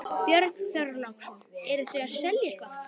Björn Þorláksson: Eruð þið að selja eitthvað?